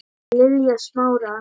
Lilja Smára.